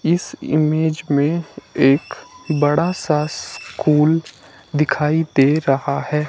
इस इमेज में एक बड़ा सा स्कूल दिखाई दे रहा है।